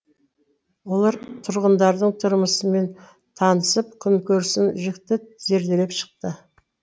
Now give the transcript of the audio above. олар тұрғындардың тұрмысымен танысып күнкөрісін жіті зерделеп шықты